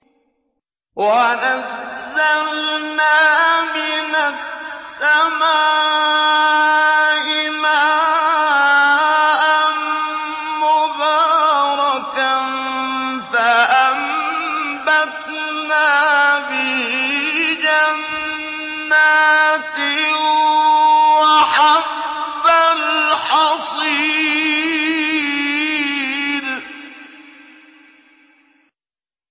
وَنَزَّلْنَا مِنَ السَّمَاءِ مَاءً مُّبَارَكًا فَأَنبَتْنَا بِهِ جَنَّاتٍ وَحَبَّ الْحَصِيدِ